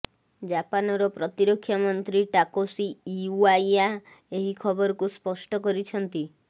ଜାପାନର ପ୍ରତିରକ୍ଷା ମନ୍ତ୍ରୀ ଟାକେଶୀ ଇଓ୍ବାୟା ଏହି ଖବରକୁ ସ୍ପଷ୍ଟ କରିଛନ୍ତି